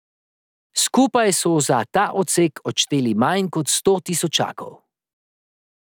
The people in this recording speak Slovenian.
Skupaj so za ta odsek odšteli manj kot sto tisočakov.